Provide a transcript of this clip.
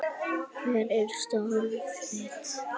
Hver er starf þitt?